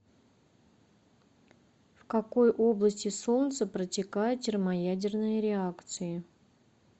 в какой области солнца протекают термоядерные реакции